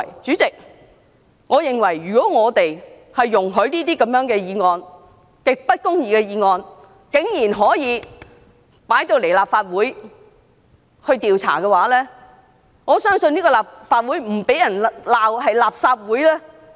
主席，如果我們容許如此極不公義的議案，竟然可以在立法會進行調查，我相信立法會便不得不被改稱為"垃圾會"。